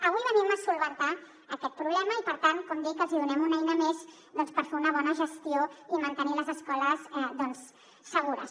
avui venim a solucionar aquest problema i per tant com dic que els hi donem una eina més per fer una bona gestió i mantenir les escoles doncs segures